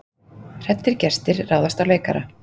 Hræddir gestir ráðast á leikara